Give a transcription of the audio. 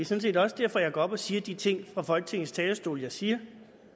set også derfor jeg går op og siger de ting fra folketingets talerstol jeg siger